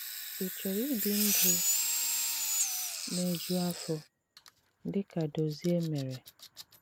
Ị chọ̀rọ̀ íbì ndụ̀ na-ejù àfọ̀, dị ka Dòzìè mèré?